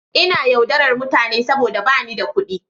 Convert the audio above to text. Ina yaudarar mutane saboda ba ni da kuɗi.